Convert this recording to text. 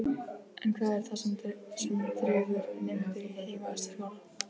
En hvað er það sem dregur nemendur í heimavistarskóla?